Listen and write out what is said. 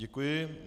Děkuji.